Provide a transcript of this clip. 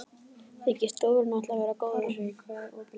Þykist Dóri nú ætla að vera góður.